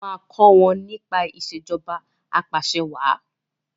o má kò wón nípa Ìṣèjọba Apàṣẹwàá